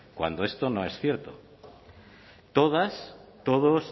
cuando esto no es cierto todas todos